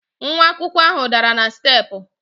Nwa akwụkwọ ahụ dara na steepụ.